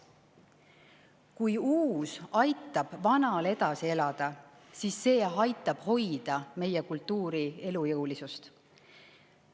Kui uus aitab vanal edasi elada, siis see aitab hoida meie kultuuri elujõulisust.